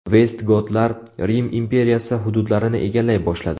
Vestgotlar Rim imperiyasi hududlarini egallay boshladi.